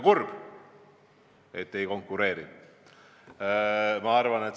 Kurb, kui te ei konkureeri.